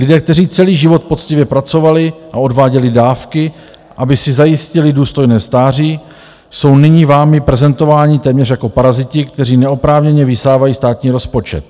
Lidé, kteří celý život poctivě pracovali a odváděli dávky, aby si zajistili důstojné stáří, jsou nyní vámi prezentováni téměř jako paraziti, kteří neoprávněně vysávají státní rozpočet.